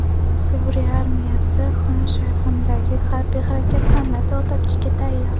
Suriya armiyasi Xon Shayxundagi harbiy harakatlarni to‘xtatishga tayyor.